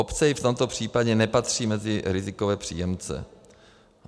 Obce i v tomto případě nepatří mezi rizikové příjemce.